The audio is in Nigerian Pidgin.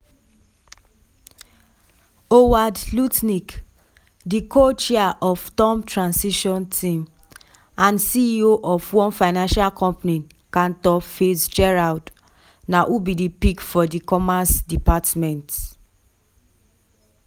howard lutnick di co-chair of turmp transition team and ceo of one financial company cantor fitzgerald na who be di pick for di commerce department.